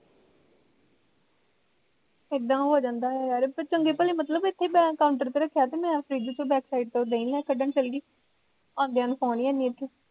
ਏਦਾਂ ਹੋ ਜਾਂਦਾ ਐ ਯਾਰ ਪਰ ਚੰਗੇ ਭਲੇ ਮਤਲਬ ਮੈਂ ਇੱਥੇ counter ਰੱਖਿਆ ਤੇ ਮੈਂ ਫਰਿੱਜ ਚੋਂ backside ਤੋਂ ਦਹੀਂ ਕੱਢਣ ਚੱਲਗੀ ਆਉਂਦਿਆਂ ਨੂੰ phone ਈ ਹੈਨੀ ਉੱਥੇ